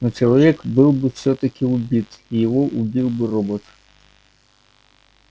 но человек был бы всё-таки убит и его убил бы робот